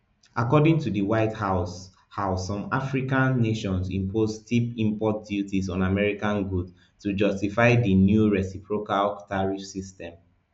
according to di white house house some african nations impose steep import duties on american goods to justify di new reciprocal tariff system